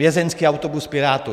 Vězeňský autobus Pirátů.